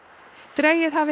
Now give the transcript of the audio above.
dregið hafi